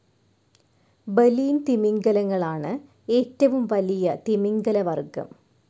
Baleen തിമിംഗലങ്ങളാണു ഏറ്റവും വലിയ തിമിംഗലവർഗ്ഗം.